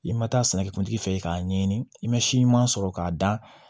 I ma taa sɛnɛkɛ kuntigi fɛ i k'a ɲɛɲini i ma si ɲuman sɔrɔ k'a da